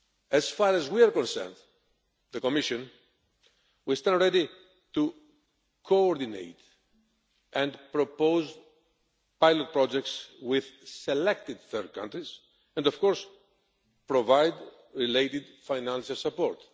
As far as the Commission is concerned, we stand ready to coordinate and propose pilot projects with selected third countries and of course provide related financial support.